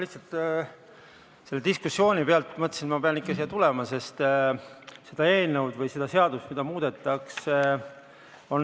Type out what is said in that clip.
Lihtsalt selle diskussiooni peale ma mõtlesin, et pean ikka siia tulema.